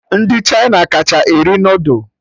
Ndị Chịna kacha eri noodul